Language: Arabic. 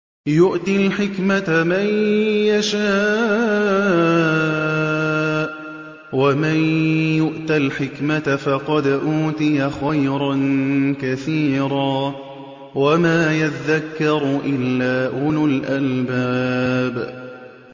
يُؤْتِي الْحِكْمَةَ مَن يَشَاءُ ۚ وَمَن يُؤْتَ الْحِكْمَةَ فَقَدْ أُوتِيَ خَيْرًا كَثِيرًا ۗ وَمَا يَذَّكَّرُ إِلَّا أُولُو الْأَلْبَابِ